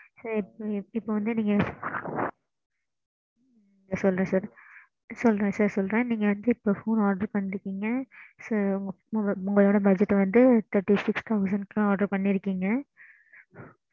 நீங்க அந்த plan மட்டும் சொல்லுங்க plan மட்டும் சொல்லுங்க mam